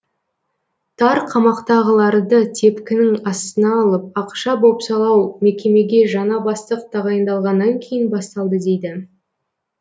тар қамақтағыларды тепкінің астына алып ақша бопсалау мекемеге жаңа бастық тағайындалғаннан кейін басталды дейді